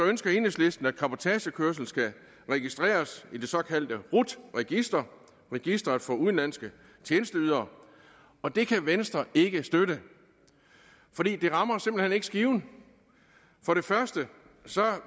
ønsker enhedslisten at cabotagekørsel skal registreres i det såkaldte rut register registeret for udenlandske tjenesteydere og det kan venstre ikke støtte for det rammer simpelt hen ikke skiven for det første